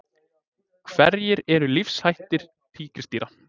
Hverjir eru lífshættir tígrisdýra?